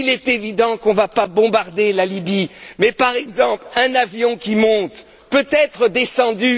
Il est évident qu'on ne va pas bombarder la Libye, mais par exemple un avion qui monte peut être descendu.